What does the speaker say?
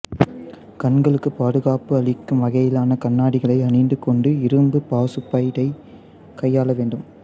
கண்களுக்கு பாதுகாப்பு அளிக்கும் வகையிலான கண்ணாடிகளை அணிந்து கொண்டு இரும்பு பாசுபைடை கையாள வேண்டும்